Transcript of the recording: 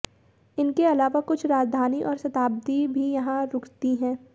इनके अलावा कुछ राजधानी और शताब्दी भी यहाँ रूकती है